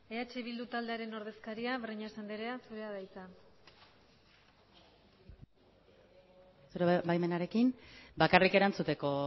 eh bilbu taldearen ordezkaria breñas andrea zurea da hitza zure baimenarekin bakarrik erantzuteko